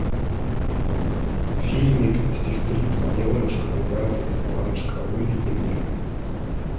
фильмик сестрица аленушка и братец иванушка выведи мне